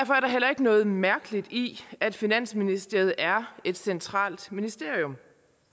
heller ikke noget mærkeligt i at finansministeriet er et centralt ministerium